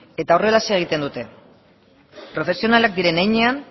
eta horrelaxe egiten dute profesionalak diren heinean